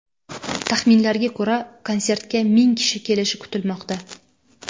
Taxminlarga ko‘ra, konsertga ming kishi kelishi kutilmoqda.